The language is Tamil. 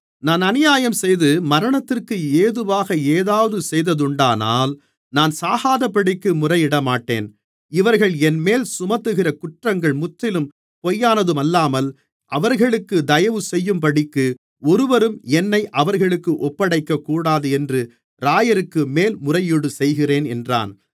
நான் அநியாயஞ்செய்து மரணத்திற்கு ஏதுவாக ஏதாவது செய்ததுண்டானால் நான் சாகாதபடிக்கு முறையிடமாட்டேன் இவர்கள் என்மேல் சுமத்துகிற குற்றங்கள் முற்றிலும் பொய்யானதுமல்லாமல் அவர்களுக்குத் தயவுசெய்யும்படிக்கு ஒருவரும் என்னை அவர்களுக்கு ஒப்படைக்கக்கூடாது என்று இராயருக்கு மேல்முறையீடு செய்கிறேன் என்றான்